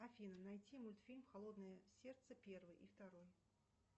афина найти мультфильм холодное сердце первый и второй